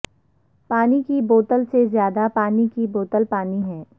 پانی کی بوتل سے زیادہ پانی کی بوتل پانی ہے